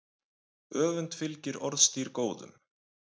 Öfund fylgir orðstír góðum.